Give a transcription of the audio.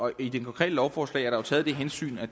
i det konkrete lovforslag er der taget det hensyn at